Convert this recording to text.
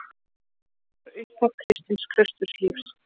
Þetta var upphaf kristins klausturlífs.